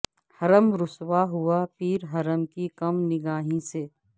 حرم رسوا ہوا پیر حرم کی کم نگاہی سے